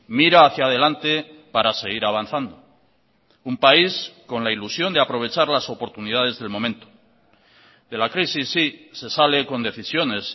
mira hacia delante para seguir avanzando un país con la ilusión de aprovechar las oportunidades del momento de la crisis sí se sale con decisiones